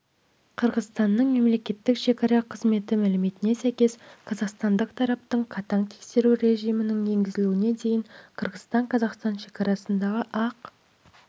қырғызстанның мемлекеттік шекара қызметі мәліметіне сәйкес қазақстандық тараптың қатаң тексеру режимнің енгізілуіне дейін қырғызстан-қазақстан шекарасындағы ақ